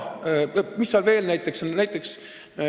Mis seal veel on?